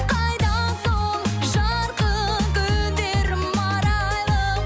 қайда сол жарқын күндерім арайлым